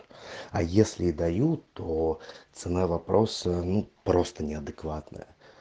а если дают то ну просто неадекватная